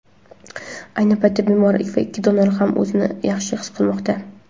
Ayni paytda bemor va ikki donor ham o‘zini yaxshi his qilmoqda.